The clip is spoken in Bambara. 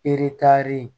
Eretari